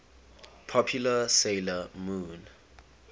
popular 'sailor moon